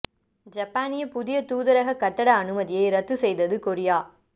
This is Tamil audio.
ஜப்பானிய புதிய தூதரக கட்டட அனுமதியை ரத்து செய்தது கொரியா